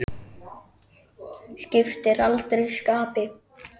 Skiptir aldrei skapi.